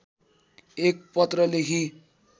एक पत्र लेखी